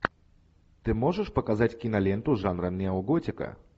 ты можешь показать киноленту жанра неоготика